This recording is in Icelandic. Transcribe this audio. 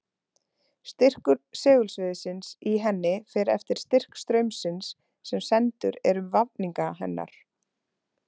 Styrkur segulsviðsins í henni fer eftir styrk straumsins sem sendur er um vafninga hennar.